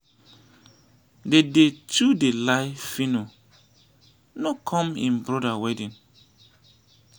dede too dey lie phyno no come im brother wedding